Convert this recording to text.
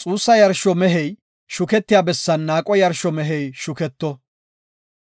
Xuussa yarsho mehey shuketiya bessan naaqo yarsho mehey shuketto;